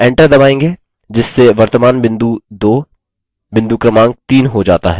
जिससे वर्तमान बिंदु 2 बिंदु क्रमांक 3 हो जाता है